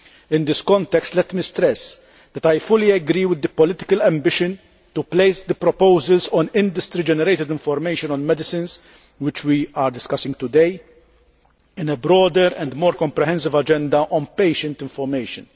In this context, let me stress that I fully agree with the political ambition to place the proposals on industry generated information on medicines, which we are discussing today, in a broader and more comprehensive agenda on patient information.